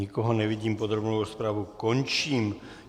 Nikoho nevidím, podrobnou rozpravu končím.